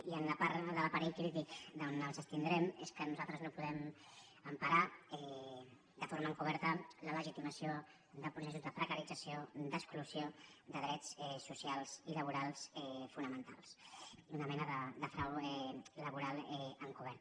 i la part de l’aparell crític d’on ens abstindrem és que nosaltres no podem emparar de forma encoberta la legitimació de processos de precarització d’exclusió de drets socials i laborals fonamentals una mena de frau laboral encobert